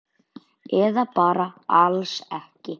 Eða bara alls ekki.